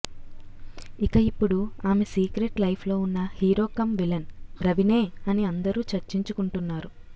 ఇక ఇప్పుడు ఆమె సీక్రెట్ లైఫ్లో ఉన్న హీరో కం విలన్ రవినే అని అందరూ చర్చించుకుంటున్నారు